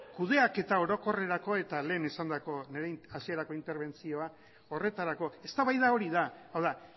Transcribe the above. kudeaketa orokorrerako eta lehen esandako nire hasierako interbentzioa horretarako eztabaida hori da hau da